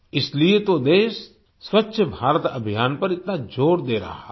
इसलिए तो देश स्वच्छ भारत अभियान पर इतना जोर दे रहा है